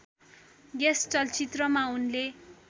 यस चलचित्रमा उनले